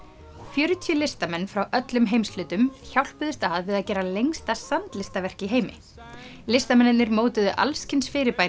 fjörutíu listamenn frá öllum heimshlutum hjálpuðust að við að gera lengsta sandlistaverk í heimi listamennirnir mótuðu alls kyns fyrirbæri